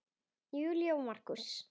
Júlía og Markús.